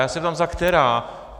Já se ptám - za která?